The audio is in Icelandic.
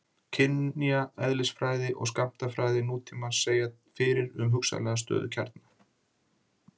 kjarneðlisfræði og skammtafræði nútímans segja fyrir um hugsanlega stöðuga kjarna